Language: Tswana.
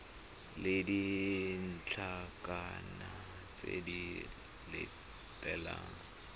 le ditlankana tse di latelang